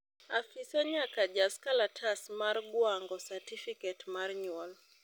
Afisa nyaka jas kalatas mar ngwango satifiket mar nyuol